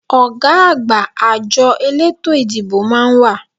Ọ̀gá àgbà àjọ eleto ìdìbò máa ń wà